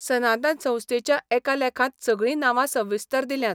सनातन संस्थेच्या एका लेखांत सगळी नांवां सविस्तर दिल्यांत.